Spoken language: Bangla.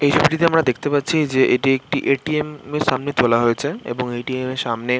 এই ছবিটিতে আমরা দেখতে পাচ্ছি যে এটি একটি এ.টি.এম. -এর সামনে তোলা হয়েছে। এবং এ.টি.এম. -এর সামনে-এ--